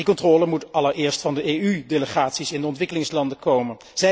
Die controle moet allereerst van de EU delegaties in de ontwikkelingslanden komen.